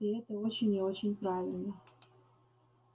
и это очень и очень правильно